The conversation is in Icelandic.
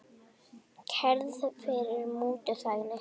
Kærð fyrir mútuþægni